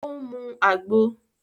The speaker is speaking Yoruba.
O ń mú Àgbo